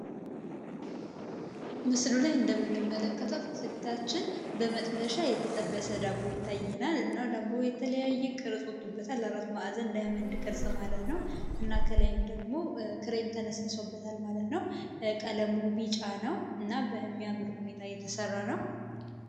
ምስሎች እንደምንመለከተው ፊት ለፊታችን በመጥበሻ የተጠበሰ ዳቦ ይታየናል እና ዳቦ የተለያየ ቅርሶቹ እንዳያመልጥ ማለት ነው እና ከላይም ደግሞ ክሬም ተነስቶበታል ማለት ነው ቀለሙ ቢጫ ነው። እና በሚያምሩ ሁኔታ እየተሰራ ነው